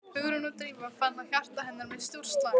Hugrún og Drífa fann að hjarta hennar missti úr slag.